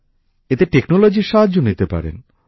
এতে টেকনোলজির সাহায্য নিতে পারেন